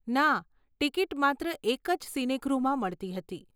ના, ટિકિટ માત્ર એક જ સિનેગૃહમાં મળતી હતી.